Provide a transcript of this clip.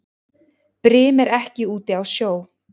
Brim er ekki úti á sjó.